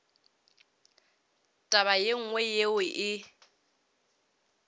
taba ye nngwe yeo e